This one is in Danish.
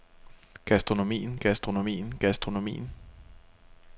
gastronomien gastronomien gastronomien